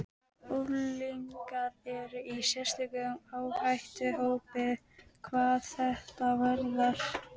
Unglingar eru í sérstökum áhættuhópi hvað þetta varðar.